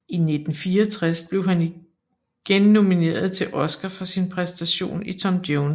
I 1964 blev han igen nomineret til Oscar for sin præstation i Tom Jones